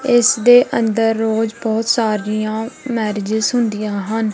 ਇਸ ਦੇ ਅੰਦਰ ਰੋਜ਼ ਬਹੁਤ ਸਾਰੀਆਂ ਮੈਰਿਜਸ ਹੁੰਦੀਆਂ ਹਨ।